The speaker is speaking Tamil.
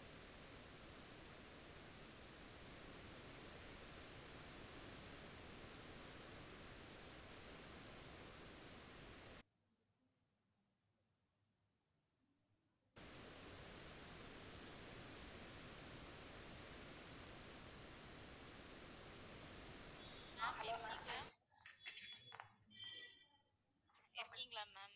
ஆஹ் hello ma'am இருக்கிங்களா ma'am